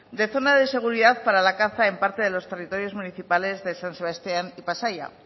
de zona de seguridad para la caza en parte de los territorios municipales de san sebastián y pasaia